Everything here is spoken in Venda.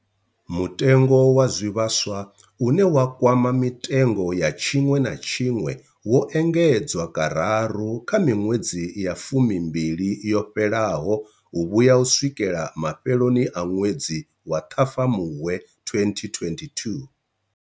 Mutengo wa zwivhaswa, une wa kwama mitengo ya tshiṅwe na tshiṅwe, wo engedzwa kararu kha miṅwedzi ya fumi mbili yo fhelaho u vhuya u swikela mafheloni a ṅwedzi wa Ṱhafamuhwe 2022.